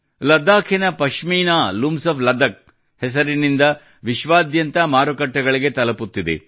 ಲಡಾಖಿನ Pashmina looms of Ladakh ಹೆಸರಿನಿಂದ ವಿಶ್ವಾದ್ಯಂತ ಮಾರುಕಟ್ಟೆಗಳಿಗೆ ತಲುಪುತ್ತಿದೆ